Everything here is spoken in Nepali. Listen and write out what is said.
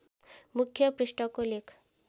मुख्य पृष्ठको लेख